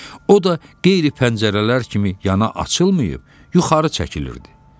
O da qeyri-pəncərələr kimi yana açılmayıb, yuxarı çəkilirdi.